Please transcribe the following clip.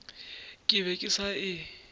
ke be ke sa e